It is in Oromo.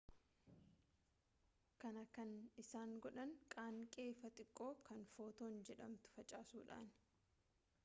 kana kan isaan godhan qaanqee ifaa xiqqoo kan footoon jedhamtu facaasuudhaani